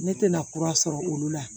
Ne tɛna kura sɔrɔ olu la